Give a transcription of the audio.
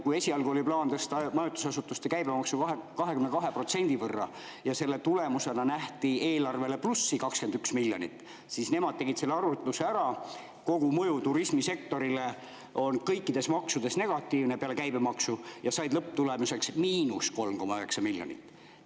Kui esialgu oli plaan tõsta majutusasutuste käibemaksu 22%‑ni ja selle tulemusena nähti eelarvele plussi 21 miljonit, siis nende arvutuse järgi on kogumõju turismisektorile kõikide maksude puhul, välja arvatud käibemaks, negatiivne ja lõpptulemuseks –3,9 miljonit.